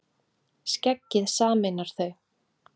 Skeggið sameinar þau